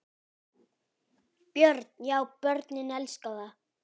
Björn: Já börnin elska það?